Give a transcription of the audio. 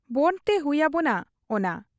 ᱵᱚᱸᱰᱽ ᱛᱮ ᱦᱩᱭ ᱟᱵᱚᱱᱟ ᱚᱱᱟ ᱾